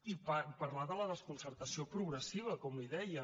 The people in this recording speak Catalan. i parlar de la desconcertació progressiva com li deia